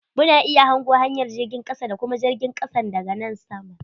Mu na iya hango hanyar jirgin kasa da kuma jirgin kasan da ga nan sama.